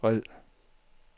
red